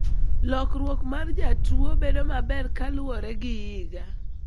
Lokruok mar jotuo bedo maber kaluwore gi higa.